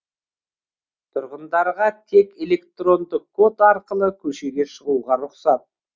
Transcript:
тұрғындарға тек электронды код арқылы көшеге шығуға рұқсат